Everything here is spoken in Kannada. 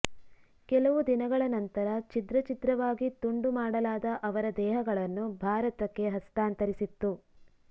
ಕೆಲವು ದಿನಗಳ ನಂತರ ಛಿದ್ರ ಛಿದ್ರವಾಗಿ ತುಂಡು ಮಾಡಲಾದ ಅವರ ದೇಹಗಳನ್ನು ಭಾರತಕ್ಕೆ ಹಸ್ತಾಂತರಿಸಿತ್ತು